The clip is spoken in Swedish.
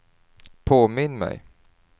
påminn mig